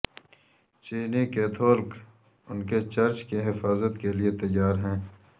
چینی کیتھولک ان کے چرچ کی حفاظت کے لئے تیار ہیں